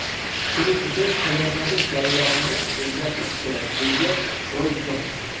Shuning uchun tayyorgarlik jarayonini o‘zgartirish kerak”, deydi Roy Jons.